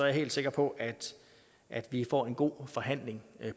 jeg helt sikker på at vi får en god forhandling